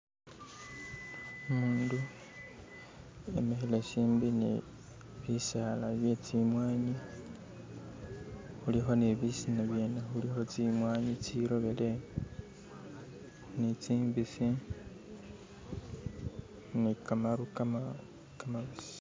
Umundu emikhile shimbi ni bisala bye zimwanyi khulikho ni bisina byene, khulikho ni zimwanyi zirobele ni zimbisi ni khamaru khamabisi.